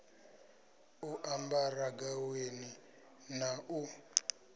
u ambara gaweni ḽa u